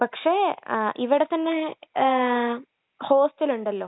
പക്ഷേ, ഇവിടത്തന്നെ ഹോസ്ടലുണ്ടല്ലോ..